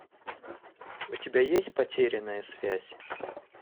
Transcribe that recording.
у тебя есть потерянная связь